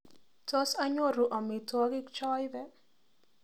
Tos anyoru amitwogika chaipe